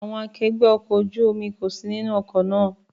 Àwọn akẹgbẹ́ ọkọ̀ ojú omi kò sí nínú ọkọ̀ náà.